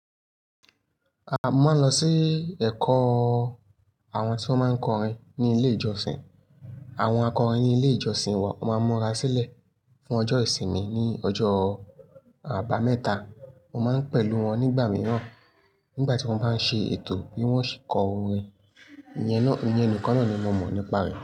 A máa ń lọ sí ẹ̀kọ́ o. Àwọn tí wọ́n máa ń kọrin ní ilé ìjọsìn. Àwọn akọrin ní ilé ìjọsìn wa won máa ń múra sílẹ̀ fún ọjọ́ ìsinmi ní ọjọ́ àbámẹ́ta. Mo máa ń pẹ̀lú wọn nígbà mìíràn nígbà tí wọ́n bá ń ṣe ètò bí wọ́n ṣe kọ orin. Iyen náà-- ìyen nìkan naa ni mo mọ̀ nípa rẹ̀.